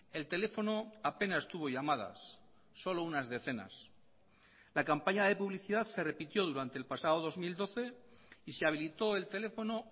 el teléfono apenas tuvo llamadas solo unas decenas la campaña de publicidad se repitió durante el pasado dos mil doce y se habilitó el teléfono